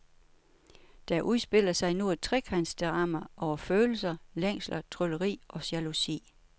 Der udspiller sig nu et trekantsdrama over følelser, længsler, trylleri og jalousi.